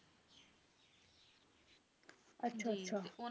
ਅੱਛਾ